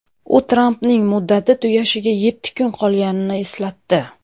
U Trampning muddati tugashiga yetti kun qolganini eslatdi.